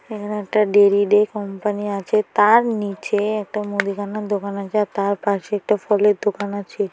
এখানে একটা ডেলিডে কোম্পানি আছে। তার নিচে একটা মুদিখানা দোকান আছে আর তার পাশে একটা ফলের দোকান আছে।